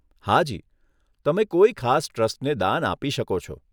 હાજી, તમે કોઈ ખાસ ટ્રસ્ટને દાન આપી શકો છો.